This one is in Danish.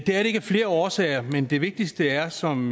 det er det ikke af flere årsager men den vigtigste er som